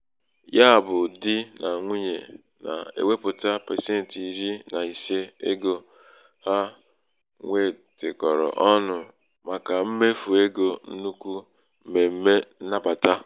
ya bụ̄ di bụ̄ di nà nwunyè na-èwepùta pasentị iri nà ise ego ha nwètèkọ̀rọ̀ ọnụ̄ màkà mmèfù egō nnukwu m̀mèm̀me nnabàta.